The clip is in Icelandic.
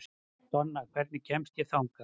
Donna, hvernig kemst ég þangað?